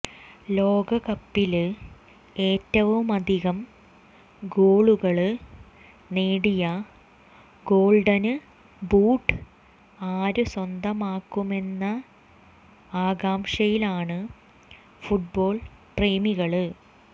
ലോകകപ്പില് ഏറ്റവുമധികം ഗോളുകള് നേടിയ ഗോള്ഡന് ബൂട്ട് ആര് സ്വന്തമാക്കുമെന്നന ആകാംക്ഷയിലാണ് ഫുട്ബോള് പ്രേമികള്